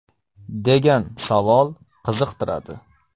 degan savol qiziqtiradi.